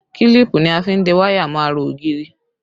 Kílípù ni a fi ń de wáyà mọ́ ara ògiri